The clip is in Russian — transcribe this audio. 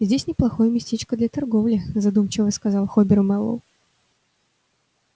здесь неплохое местечко для торговли задумчиво сказал хобер мэллоу